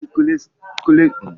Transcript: Kulikuli sitere na ala hausa